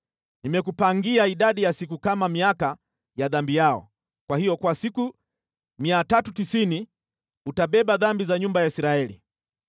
Nimekupangia idadi ya siku kama miaka ya dhambi yao. Kwa hiyo kwa siku 390 utabeba dhambi za nyumba ya Israeli.